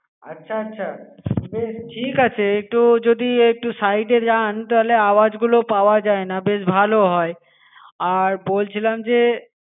আচ্ছা আচ্ছা বেশ ঠিক আছে একটু যদি একটু side এ যান তাহলে আওয়াজগুলো পাওয়া যায় না বেশ ভালো হয় আর বলছিলাম যে